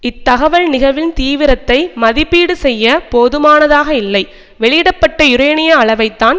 இத்தகவல் நிகழ்வின் தீவிரத்தை மதிப்பீடு செய்ய போதுமானதாக இல்லை வெளியிட பட்ட யுரேனிய அளவைத்தான்